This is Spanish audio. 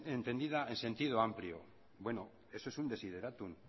entendida en sentido amplio bueno eso es un desiderátum